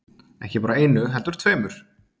Ekki bara einu heldur tveimur.